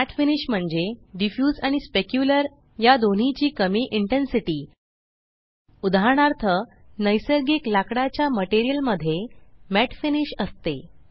mat finish म्हणजे diffuse आणि specular या दोन्हीची कमी इंटेन्सिटी उदाहरणार्थ नैसर्गिक लाकडाच्या मटेरियल मध्ये मॅट फिनिश असते